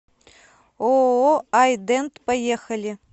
ооо ай дент поехали